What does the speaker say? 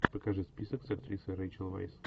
покажи список с актрисой рэйчел вайс